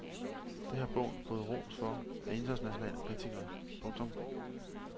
Det har bogen fået ros for af internationale kritikere. punktum